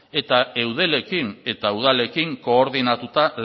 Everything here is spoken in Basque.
eta eudelekin eta udalekin koordinatuta